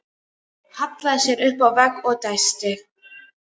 Hallaði sér upp að vegg og dæsti.